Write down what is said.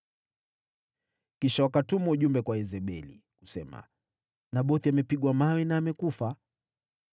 Kisha wakatuma ujumbe kwa Yezebeli, kusema, “Nabothi amepigwa mawe na amekufa.”